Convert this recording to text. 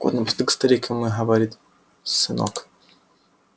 так вот напоследок старик ему и говорит сынок